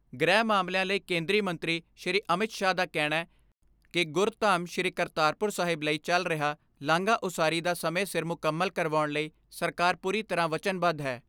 ਗ੍ਰਹਿ ਮਾਮਲਿਆਂ ਲਈ ਕੇਂਦਰੀ ਮੰਤਰੀ ਸ਼੍ਰੀ ਅਮਿਤ ਸ਼ਾਹ ਦਾ ਕਹਿਣੈ ਕਿ ਗੁਰਧਾਮ ਸ਼੍ਰੀ ਕਰਤਾਰਪੁਰ ਸਾਹਿਬ ਲਈ ਚੱਲ ਰਿਹਾ ਲਾਂਘਾ ਉਸਾਰੀ ਦਾ ਸਮੇਂ ਸਿਰ ਮੁਕੰਮਲ ਕਰਵਾਉਣ ਲਈ ਸਰਕਾਰ ਪੂਰੀ ਤਰ੍ਹਾਂ ਵਚਨਬੱਧ ਹੈ।